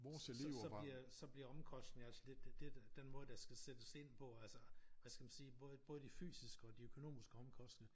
Så så bliver så bliver omkostning altså det det den måder der skal sættes ind på altså hvad skal man sige både de fysiske og de økonomiske omkostninger